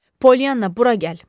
Polyana, bura gəl.